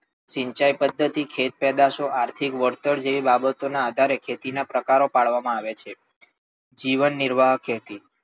સિંચાઇ પદ્ધતિ, ખેત પેદાશો, આર્થિક વળતર જેવી બાબત ના આધારે ખેતી ના પ્રકારો પાડવામાં આવ્યા છે. જીવનનિર્વાહ ખેતી,